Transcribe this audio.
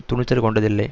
துணிச்சல் கொண்டதில்லை